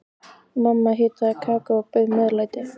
Mamma hitaði kakó og bauð meðlæti.